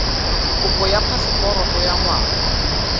kopo ya phaseporoto ya ngwana